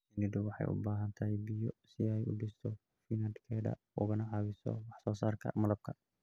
Shinnidu waxay u baahan tahay biyo si ay u dhisto finankeeda ugana caawiso wax soo saarka malabka.